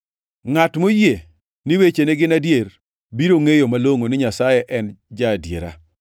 Ngʼat moyie ni wechene gin adier, biro ngʼeyo malongʼo ni Nyasaye en ja-adiera.